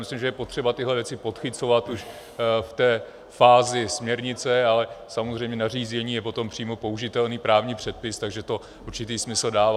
Myslím, že je potřeba tyhle věci podchycovat už v té fázi směrnice, ale samozřejmě nařízení je pak přímo použitelný právní předpis, takže to určitý smysl dává.